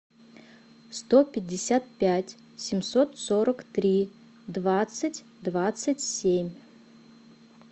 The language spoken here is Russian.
сто пятьдесят пять семьсот сорок три двадцать двадцать семь